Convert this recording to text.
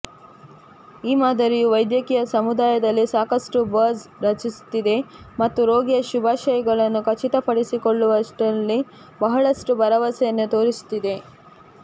ಈ ಮಾದರಿಯು ವೈದ್ಯಕೀಯ ಸಮುದಾಯದಲ್ಲಿ ಸಾಕಷ್ಟು ಬಝ್ ರಚಿಸುತ್ತಿದೆ ಮತ್ತು ರೋಗಿಯ ಶುಭಾಶಯಗಳನ್ನು ಖಚಿತಪಡಿಸಿಕೊಳ್ಳುವಲ್ಲಿ ಬಹಳಷ್ಟು ಭರವಸೆಯನ್ನು ತೋರಿಸುತ್ತಿದೆ